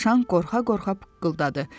Dovşan qorxa-qorxa pıqqıldadı.